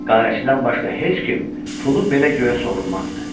Qarətçidən başqa heç kim pulu belə göyə sovurmazdı.